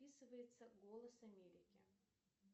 описывается голос америки